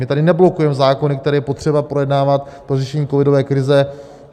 My tady neblokujeme zákony, které je potřeba projednávat pro řešení covidové krize.